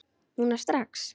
Núna strax?